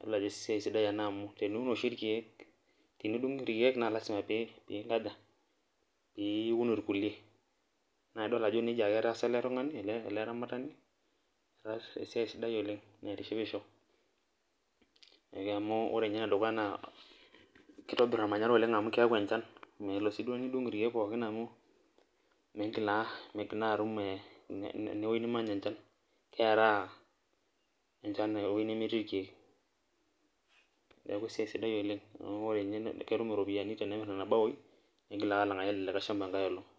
idol ajo esiai sidai ena amu tenidung oshi irkeek naa lasima ii nkaja, pee iun irkulie, naa idol ajo nejia ake etaasa, ele tungani ele aramatani, etaasa esiai sidai oleng. naitishipishoamu ore ninye ene dukuya naa kitobir olmanyara oleng, amu keyau enchan, melo sii duo nidung' irkeek oleng amu, migil naa miigil naa atum ewuei nimany enchan, keraa enchan ewuei nemetii irkeek. neeku esiai sidai oleng ketum iropiyiani tenemir nena baoi, nigil ake alangaki ele shampa enkae olong'.